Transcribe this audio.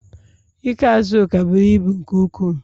Ikee Azuka buru ibu nke ukwuu